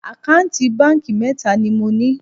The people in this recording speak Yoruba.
Àkáǹtì báńkì mẹ́ta ni mo ní